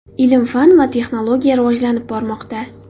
Ilm-fan va texnologiya rivojlanib bormoqda.